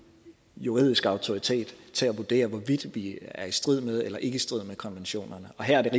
juridisk autoritet til at vurdere hvorvidt vi er i strid med eller ikke i strid med konventionerne og her